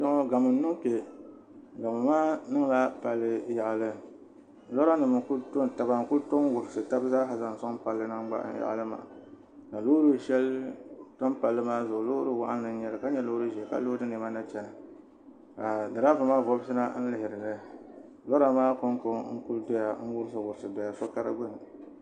Gamo n niŋ kpɛ gamo maa niŋla palli yaɣali lora nim n ku to taba n ku to n wurisi tabi zaaha zaŋ soŋ palli maa yaɣali maa ka loori shɛli tam palli maa zuɣu Loori waɣanli n nyɛli ka nyɛ loori ʒiɛ ka loodi niɛma na chɛna ka diraaba maa vobisi na n lihiri li lora maa konko n ku wurisi wurisi doya so ka di gbuni